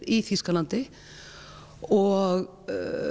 í Þýskalandi og